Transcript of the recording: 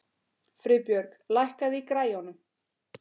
Friðbjörg, lækkaðu í græjunum.